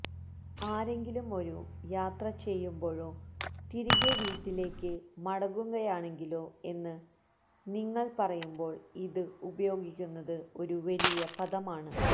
ആരെങ്കിലും ഒരു യാത്ര ചെയ്യുമ്പോഴോ തിരികെ വീട്ടിലേക്ക് മടങ്ങുകയാണെങ്കിലോ എന്ന് നിങ്ങൾ പറയുമ്പോൾ ഇത് ഉപയോഗിക്കുന്നത് ഒരു വലിയ പദമാണ്